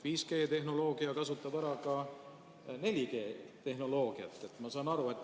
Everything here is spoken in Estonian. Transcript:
5G-tehnoloogia kasutab ära 4G-tehnoloogiat, ma saan aru.